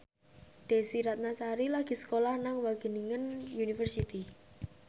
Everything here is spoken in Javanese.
Desy Ratnasari lagi sekolah nang Wageningen University